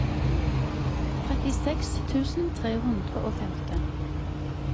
trettiseks tusen tre hundre og femten